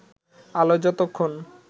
আলো যতক্ষণ